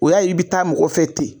O y'a ye i bi taa mɔgɔ fɛ ten.